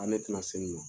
A ne tina se nin ma